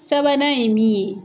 Sabanan ye min ye